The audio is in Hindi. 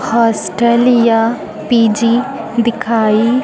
हॉस्टल या पी_जी दिखाई--